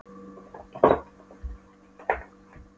Mikil spenna og eftirvænting í kringum hana.